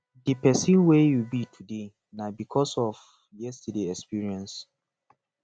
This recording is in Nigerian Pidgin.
di person wey yu be today na bikos of yestaday experience